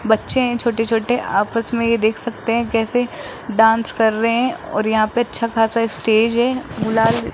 बच्चे है छोटे छोटे आपस में ये देख सकते है कैसे डांस कर रहे है और यहां पे अच्छा खासा स्टेज है बुला --